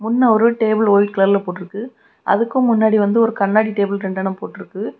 முன்ன ஒரு table white கலர்ல போட்டு இருக்கு அதுக்கு முன்னாடி வந்து கண்ணாடி டேபிள் ரெண்டுன்னா போட்டு இருக்கு.